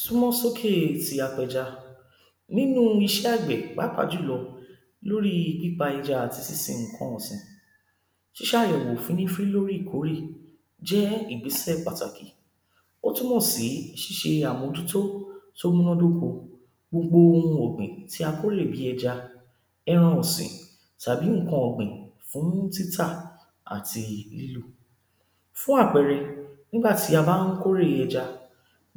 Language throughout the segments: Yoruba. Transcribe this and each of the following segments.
súnmọ́ sókè ti apẹja, nínú iṣẹ́ àgbẹ̀, pàápàá jùlo lórí pípa ẹja àti sínsin nǹkan ọ̀sìn ṣíṣàyẹ̀wò fínni fí lórí ìkórè jẹ́ ìgbésẹ̀ pàtàkì, ó túmọ̀ sí ṣíṣe àmójútó tó múná dóko gbogbo ohun ọ̀gbìn tí a kólè bíi ẹja, ẹran ọ̀sìn, tàbí nǹkan ọ̀gbìn fún títà àti lílò fún àpẹẹrẹ, nígbà tí a bá n kórè ẹja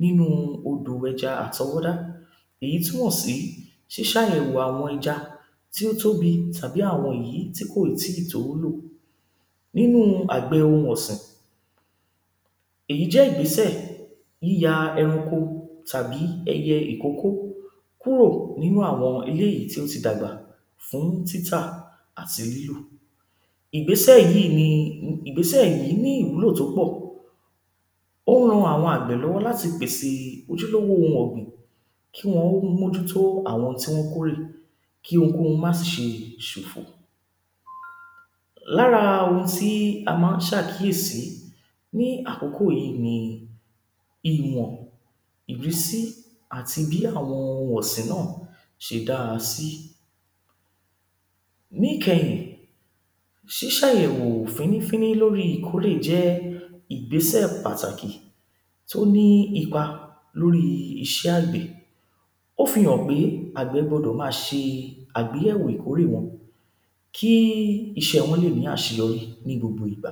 nínú odò ẹja àtọwọ́dá èyí túmọ̀ sí ṣíṣàyẹ̀wò àwọn tí ó tóbi tàbí àwọn èyí tí kò í tó ó lò nínú àgbẹ̀ ohun ọ̀sìn èyí jẹ́ ìgbésẹ̀ yíya ẹranko tàbí ẹyẹ ìkókó kúò nínú àwọn eléyìí tí ó ti dàgbà fún títà àti lílò ìgbésẹ̀ yí ni, ìgbésẹ̀ yìí ní ìwúlò tó pọ̀ ó ran àwọn àgbẹ̀ lọ́wọ́ láti pèsè ojúlówó ohun ọ̀gbìn, kí wọn ó mójútó àwọn ohun tí wọ́n kórè kí ohunkóhun máa ṣìse ṣòfò lára ohun tí a máa ń ṣàkíyèsi ní àkókò yìí ni ìwọ̀n, ìrísí, àti bí àwọn ohun ọ̀sìn náà ṣe dáa sí níkẹyìn ṣísàyẹ̀wò fínní fínní lórí ìkórè jẹ́ ìgbésẹ̀ pàtàkì tó ní ipa lórí iṣẹ́ àgbẹ̀, ó fihàn pé àgbẹ̀ gbọdọ̀ máa ṣe àgbéyẹ̀wò ìkórè wọn kí iṣẹ́ wọ́n lè ní àṣeyọrí ní gbogbo ìgbà